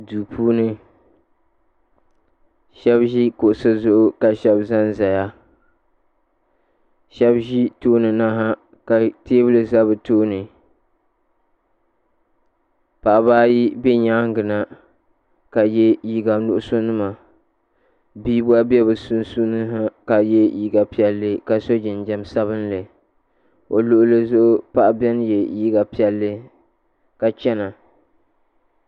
duu puuni shɛba ʒi kuɣisi zuɣu ka shɛba za n-zaya shɛba ʒi tooni na ha ka teebuli za bɛ tooni paɣaba ayi be nyaaga na ka ye liiga nuɣisɔ nima bia gba be bɛ sunsuuni ha ka ye liiga piɛlli ka sɔ jinjam sabinli o luɣili zuɣu paɣa beni ye liiga piɛlli ka chana